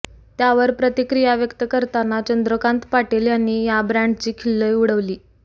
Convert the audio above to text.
त्यावर प्रतिक्रिया व्यक्त करताना चंद्रकांत पाटील यांनी या ब्रँडची खिल्ली उडवली